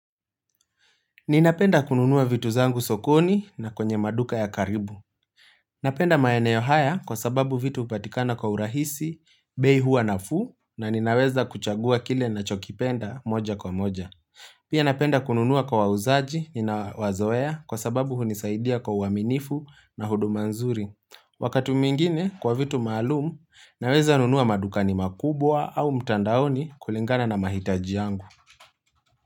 Ninapenda kununuwa vitu zangu sokoni na kwenye maduka ya karibu. Napenda maeneo haya kwa sababu vitu upatikana kwa urahisi, bei hua nafuu na ninaweza kuchagua kile na chokipenda moja kwa moja. Pia napenda kununua kwa uzaji nina wazoea kwa sababu hunisaidia kwa uaminifu na huduma nzuri. Wakati mwingine kwa vitu maalumu, naweza nunua maduka ni makubwa au mtandaoni kulingana na mahitaji yangu.